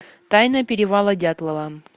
тайна перевала дятлова